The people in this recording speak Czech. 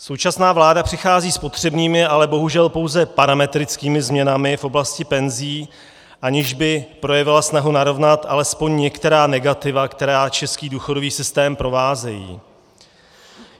Současná vláda přichází s potřebnými, ale bohužel pouze parametrickými změnami v oblasti penzí, aniž by projevila snahu narovnat alespoň některá negativa, která český důchodový systém provázejí.